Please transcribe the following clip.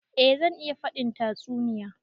Eh zan iya faɗin tatsuniya.